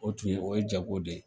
O tun ye o ye jago de ye